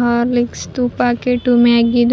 Horlicks ದು packet ಮ್ಯಾಗಿದು --